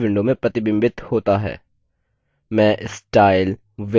मैं style width और color भी बदलूँगा